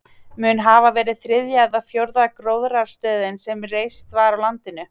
Mun hafa verið þriðja eða fjórða gróðrarstöðin sem reist var á landinu.